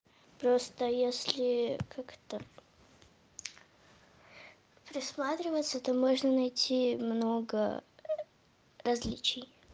просто если как-то присматриваться то можно найти много различий